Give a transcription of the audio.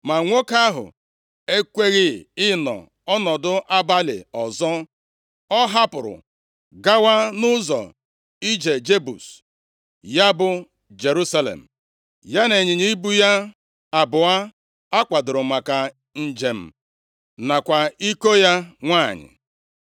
Ma nwoke ahụ ekweghị ịnọ ọnọdụ abalị ọzọ, ọ hapụrụ gawa nʼụzọ ije Jebus (ya bụ Jerusalem), ya na ịnyịnya ibu ya abụọ akwadoro maka njem nakwa iko ya nwanyị.